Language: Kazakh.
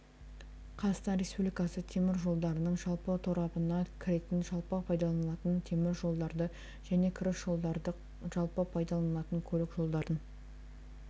қазақстан республикасы темір жолдарының жалпы торабына кіретін жалпы пайдаланылатын темір жолдарды және кіріс жолдарды жалпы пайдаланылатын көлік жолдарын